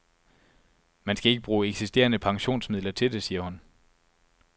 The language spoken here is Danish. Man skal ikke bruge eksisterende pensionsmidler til det, siger hun.